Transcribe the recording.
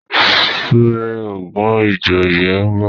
súré ogun ìjòyè nbọ